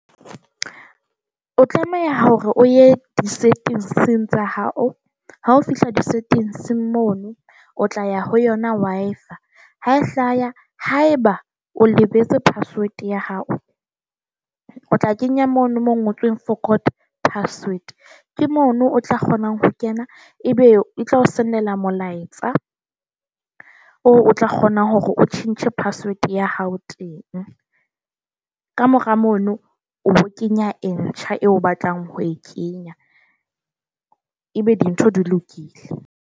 O tlameha hore o ye di-settings tsa hao ha o fihla di-settings mono o tla ya ho yona Wi-Fi. Ha e hlaya haeba o lebetse password ya hao, o tla kenya mono mo ngotsweng forgot password. Ke mono o tla kgonang ho kena ebe e tlo send-ela molaetsa o o tla kgona hore o tjhentjhe password ya hao teng. Ka mora mono o bo kenya e ntjha, eo o batlang ho e kenya, e be dintho di lokile.